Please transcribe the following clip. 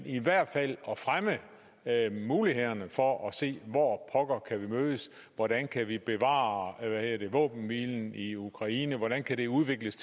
i hvert fald at fremme mulighederne for at se hvor pokker kan vi mødes hvordan kan vi bevare våbenhvilen i ukraine hvordan kan det udvikles